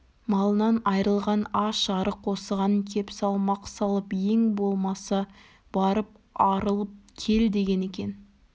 малынан айрылған аш-арық осыған кеп салмақ салып ең болмаса барып арылып кел деген екен